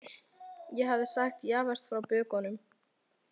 Ég hafði sagt Javert frá bökunum.